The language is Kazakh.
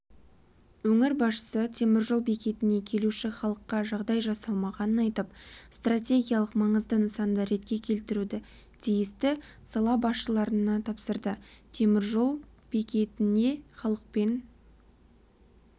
өңір басшысы теміржол бекетіне келуші халыққа жағдай жасалмағанын айтып стратегиялық маңызды нысанды ретке келтіруді тиісті сала басшыларына тапсырды теміржол бекітінде халықпен